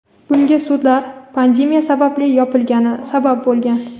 Bunga sudlar pandemiya sababli yopilgani sabab bo‘lgan.